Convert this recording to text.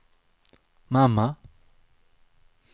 mamma